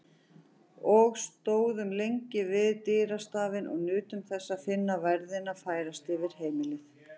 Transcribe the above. Og stóðum lengi við dyrastafinn og nutum þess að finna værðina færast yfir heimilið.